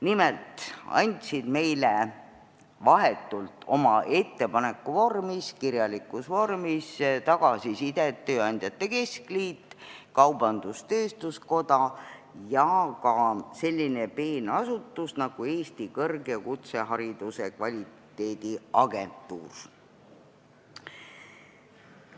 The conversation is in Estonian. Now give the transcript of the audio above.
Nimelt andsid meile vahetut tagasisidet ettepaneku vormis, kirjalikus vormis Eesti Tööandjate Keskliit, Eesti Kaubandus-Tööstuskoda ning ka selline peen asutus nagu Eesti Kõrg- ja Kutsehariduse Kvaliteediagentuur.